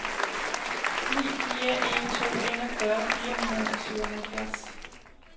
ni fire en to enogfyrre fire hundrede og syvoghalvfjerds